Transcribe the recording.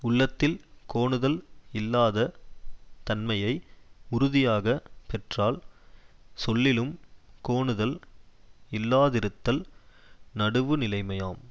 உள்ளத்தில் கோணுதல் இல்லாத தன்மையை உறுதியாகப் பெற்றால் சொல்லிலும் கோணுதல் இல்லாதிருத்தல் நடுவுநிலைமையாம்